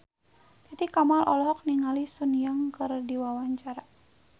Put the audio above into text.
Titi Kamal olohok ningali Sun Yang keur diwawancara